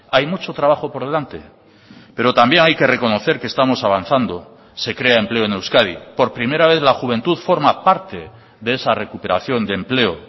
hay mucho trabajo por delante pero también hay que reconocer que estamos avanzando se crea empleo en euskadi por primera vez la juventud forma parte de esa recuperación de empleo